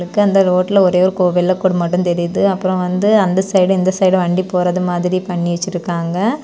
க்கு அந்த ரோட்ல ஒரே ஒரு கோவில் குடம் மட்டும் தெரியுது அப்பறொ வந்து அந்த சைடு இந்த சைடும் வண்டி போறது மாதிரி பண்ணி வெச்சிருக்காங்க.